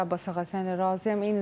Əlbəttə, Abas ağa, Səna razıyam.